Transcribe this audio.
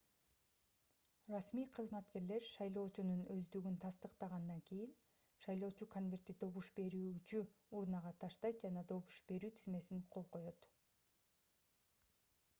расмий кызматкерлер шайлоочунун өздүгүн тастыктагандан кийин шайлоочу конвертти добуш берүүчү урнага таштайт жана добуш берүү тизмесине кол коёт